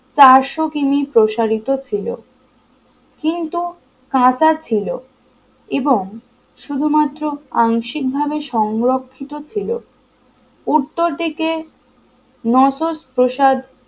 চারশো কিমি প্রসারিত ছিল কিন্তু কাঁচা ছিল এবং শুধুমাত্র আংশিকভাবে সংরক্ষিত ছিল উত্তর দিকে নয়শো প্রসাদ